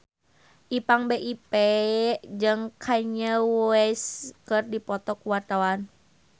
Ipank BIP jeung Kanye West keur dipoto ku wartawan